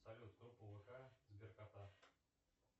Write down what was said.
салют группа вк сберкота